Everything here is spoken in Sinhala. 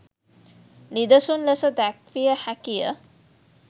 නිදසුන් ලෙස දැක්විය හැකිය.